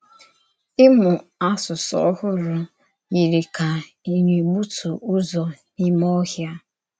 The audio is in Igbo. Ìmú àsụsụ ọ́hụrụ yiri kà í na-ègbùtù Ụ́zọ̀ n’ímè ọ̀hịà.